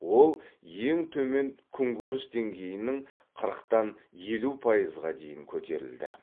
ол ең төмен күнкөріс деңгейінің қырықтан елу пайызға дейін көтерілді